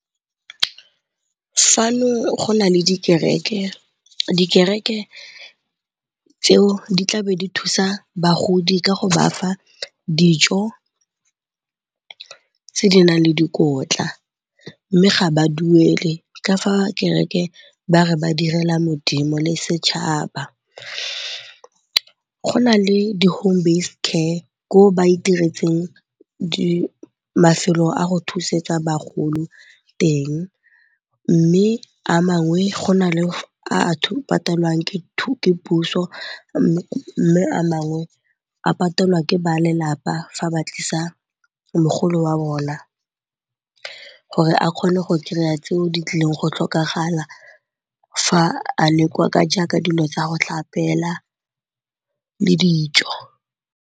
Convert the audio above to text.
Fano go na le dikereke, dikereke tseo di tlabe di thusa bagodi ka go ba fa dijo tse di nang le dikotla mme ga ba duele ka fa kereke ba re ba direla modimo le setšhaba. Go na le di-home-based care ko go ba itiretseng mafelo a go thusetsa bagolo teng mme a mangwe go na le a a patelwang ke puso mme a mangwe a patelwa ke ba lelapa fa ba tlisa mogolo wa bona gore a kgone go kry-a tseo di tlileng go tlhokagala fa a le kwa jaaka dilo tsa go tlhapela le dijo.